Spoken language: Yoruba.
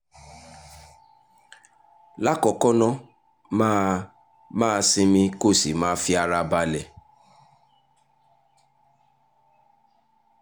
lákọ̀ọ́kọ́ ná máa máa sinmi kó o sì máa fi ara balẹ̀